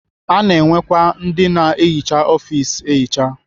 Ana enwekwa ndị na-ehicha ọfis ehicha.